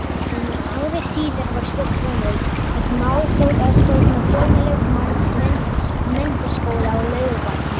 En ári síðar var svo komið, að mál þótti að stofna formlega menntaskóla á Laugarvatni.